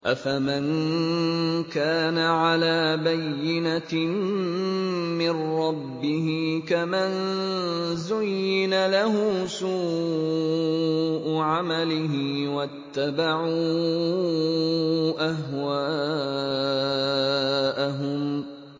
أَفَمَن كَانَ عَلَىٰ بَيِّنَةٍ مِّن رَّبِّهِ كَمَن زُيِّنَ لَهُ سُوءُ عَمَلِهِ وَاتَّبَعُوا أَهْوَاءَهُم